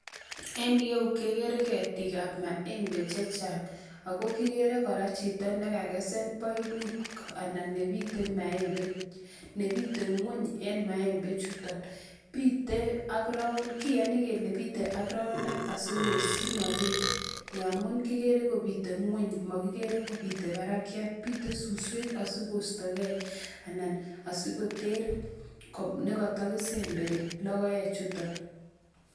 En ireyu kekere ketikab maembe chechang ak ko kikere chito nekakesen poiput anan nebite maembe, nebite ngweny en maembe chuton, bitee ak kiyoni kelee bitee ak roundtab simabiit amun kikere kobite ngweny mokikere kobite barakiat, bitee suswek asikosto kee anan asikoter nekoto kisemberi lokoechuton.